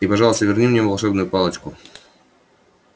и пожалуйста верни мне волшебную палочку